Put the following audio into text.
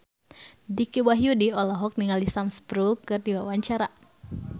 Dicky Wahyudi olohok ningali Sam Spruell keur diwawancara